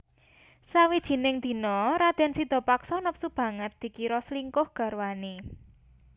Sawijining dina radèn Sidapaksa nepsu banget dikira slingkuh garwané